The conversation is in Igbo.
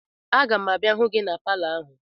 Aga m abịa hụ gị na bịa palọ ahụ